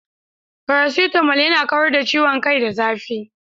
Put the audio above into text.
Paracetamol yana kawar da ciwon kai da zafi.